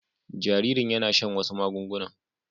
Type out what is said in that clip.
Jaririn yana shan wasu magungunan